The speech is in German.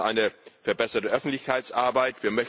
Wir brauchen eine verbesserte Öffentlichkeitsarbeit.